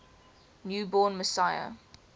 new born messiah